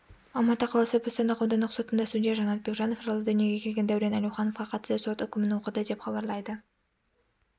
алматы қаласы бостандық аудандық сотында судья жанат бекжанов жылы дүниеге келген дәурен әлеуіановқа қатысты сот үкімін оқыды деп іабарлайды